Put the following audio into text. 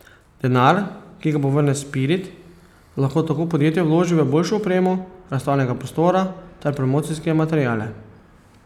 Denar, ki ga povrne Spirit, lahko tako podjetje vloži v boljšo opremo razstavnega prostora ter promocijske materiale.